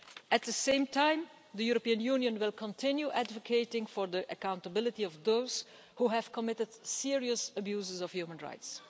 At the same time, the European Union will continue advocating for the accountability of those who have committed serious abuses of human rights.